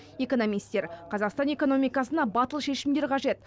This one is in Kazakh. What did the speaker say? экономистер қазақстан экономикасына батыл шешімдер қажет